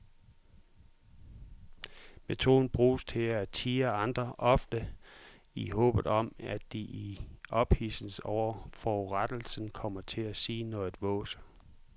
Metoden bruges til at tirre andre, ofte i håbet om at de i ophidselsen over forurettelsen kommer til at sige noget vås.